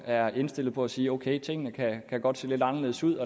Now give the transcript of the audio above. er indstillet på at sige ok tingene kan godt se lidt anderledes ud